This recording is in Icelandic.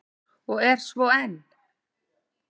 Og er svo enn!